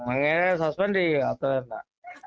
അങ്ങേരെ സസ്‌പെൻഡ് ചെയ്യുക അത്രതന്നെ